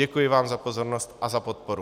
Děkuji vám za pozornost a za podporu.